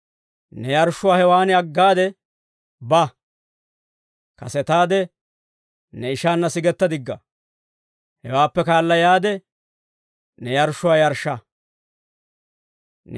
ne yarshshuwaa hewaan aggaade ba; kasetaade ne ishaanna sigetta digga; hewaappe kaala yaade, ne yarshshuwaa yarshsha.